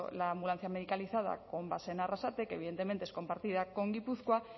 la ambulancia medicalizada con base en arrasate que evidentemente es compartida con gipuzkoa